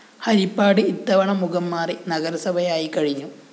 ഹരിപ്പാട് ഇത്തവണ മുഖം മാറി നഗരസഭയായിക്കഴിഞ്ഞു